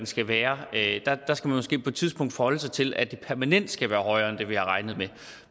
skal være at man måske på et tidspunkt skal forholde sig til at det permanent skal være højere end det vi har regnet med